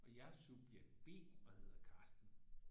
Og jeg er subjekt B og hedder Karsten